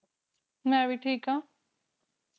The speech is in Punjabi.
ਮੇਂ ਵੀ ਠੀਕ ਆਂ